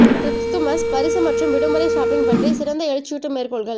Christmas பரிசு மற்றும் விடுமுறை ஷாப்பிங் பற்றி சிறந்த எழுச்சியூட்டும் மேற்கோள்கள்